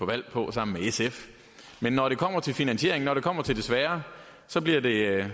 valg på sammen med sf men når det kommer til finansieringen når det kommer til det svære så bliver det